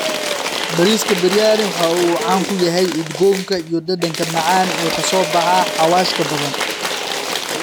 Bariiska Biryani waxa uu caan ku yahay udgoonka iyo dhadhanka macaan ee ka soo baxa xawaashka badan.